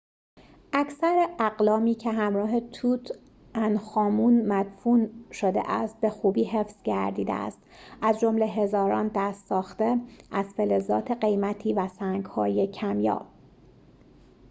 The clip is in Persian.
اکثر اقلامی که همراه توت‌عنخ‌آمون مدفون شده است به خوبی حفظ گردیده است از جمله هزاران دست‌ساخته از فلزات قیمتی و سنگ‌های کمیاب